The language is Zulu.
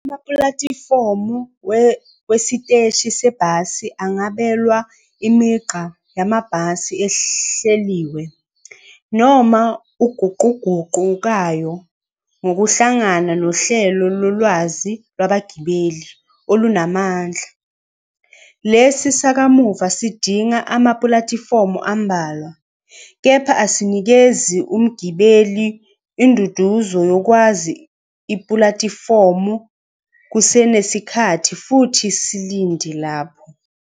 Amapulatifomu wesiteshi sebhasi angabelwa imigqa yamabhasi ehleliwe, noma eguquguqukayo ngokuhlangana nohlelo lolwazi lwabagibeli olunamandla. Lesi sakamuva sidinga amapulatifomu ambalwa, kepha asinikezi umgibeli induduzo yokwazi ipulatifomu kusenesikhathi futhi silinde lapho.